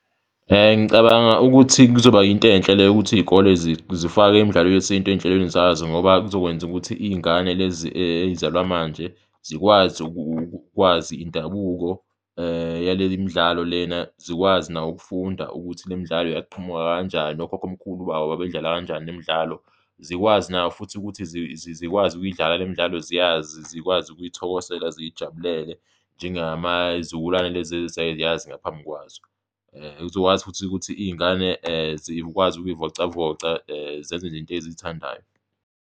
Ngicabanga ukuthi kuzoba yinto enhle le yokuthi iy'kole zifake imidlalo yesintu ey'nhlelweni zazo ngoba kuzokwenza ukuthi iy'ngane lezi ezizalwa manje zikwazi ukwazi indabuko yaleli midlalo lena, zikwazi na ukufunda ukuthi le midlalo yaphamuka kanjani, okhokhomkhulu babo babedlala kanjani imidlalo. Zikwazi na futhi ukuthi zikwazi ukuyidlala le midlalo ziyazi zikwazi ukuyithokosela ziyijabulele, njengama izizukulwane lezi ezayiyazi ngaphambi kwazo, zizokwazi futhi ukuthi iy'ngane zikwazi ukuy'vocavoca, zenze nje into eziyithandayo.